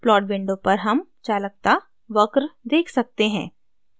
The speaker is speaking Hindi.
plot window पर हम चालकता वक्र देख सकते हैं